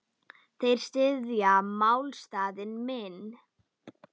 Þeir styðja málstað minn.